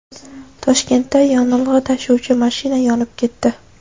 Toshkentda yonilg‘i tashuvchi mashina yonib ketdi .